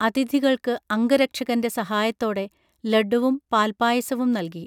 അതിഥികൾക്ക് അംഗരക്ഷകന്റെ സഹായത്തോടെ ലഡ്ഢുവും പാൽപ്പായസവും നൽകി